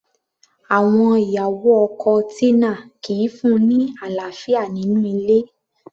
Àwọn ìyàwó ọkọ Tina kìí fún-un ní àlàáfíà nínú ilé